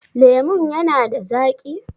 Lemon ya na da zaƙi?